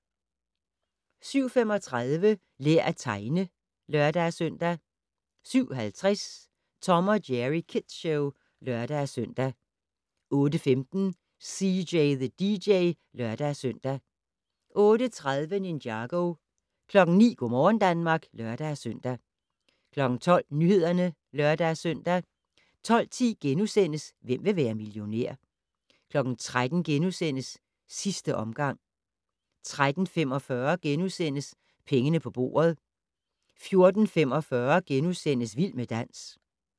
07:35: Lær at tegne (lør-søn) 07:50: Tom & Jerry Kids Show (lør-søn) 08:15: CJ the DJ (lør-søn) 08:30: Ninjago 09:00: Go' morgen Danmark (lør-søn) 12:00: Nyhederne (lør-søn) 12:10: Hvem vil være millionær? * 13:00: Sidste omgang * 13:45: Pengene på bordet * 14:45: Vild med dans *